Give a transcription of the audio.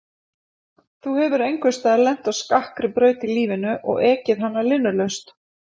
Þú hefur einhvers staðar lent á skakkri braut í lífinu og ekið hana linnulaust.